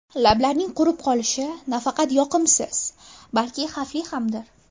Lablarning qurib qolishi nafaqat yoqimsiz, balki xavfli hamdir.